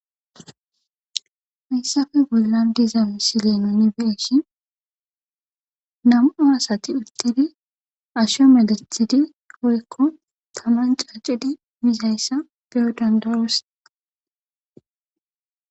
Hayssappe bollan diza misile nuni be'ishin nam"u asati uttidi asho meeththii woykko taman caccidi mizayssa beyo danda'os.